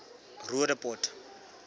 roodepoort